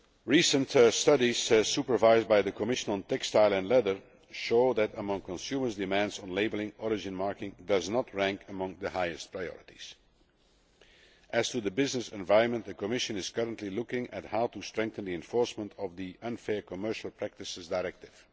Recent studies supervised by the Commission on textile and leather show that, among consumers' demands on labelling, origin marking does not rank among the highest priorities. As to the business environment, the Commission is currently looking at how to strengthen the enforcement of the Unfair Commercial Practices Directive.